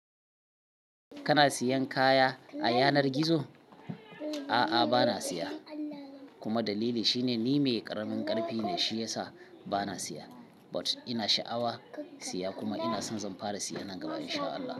Kana siyan kaya a yanar gizo? A'a, ba na siya kuma dalili shine ni mai karamin karfi ne, shi yasa ba na siya. But ina sha'awa siya kuma ina son zan fara siya nan gaba in sha Allah.